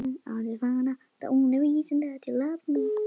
Þar voru hreinar línur.